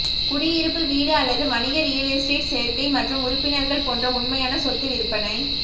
குடியிருப்பு வீடு அல்லது வணிக ரியல் எஸ்டேட் சேர்க்கை மற்றும் உறுப்பினர்கள் போன்ற உண்மையான சொத்து விற்பனை